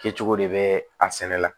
Kɛcogo de bɛ a sɛnɛ la